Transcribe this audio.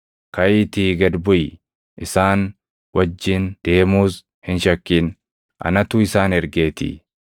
Kaʼiitii gad buʼi. Isaan wajjin deemuus hin shakkin; anatu isaan ergeetii.”